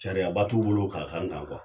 Sariyaba t'u bolo ka k'an kan